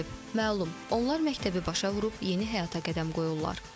Məlum, onlar məktəbi başa vurub yeni həyata qədəm qoyurlar.